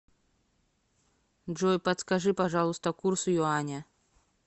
джой подскажи пожалуйста курс юаня